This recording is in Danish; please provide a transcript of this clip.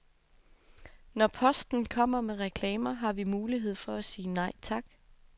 Når posten kommer med reklamer, har vi mulighed for at sige nej tak.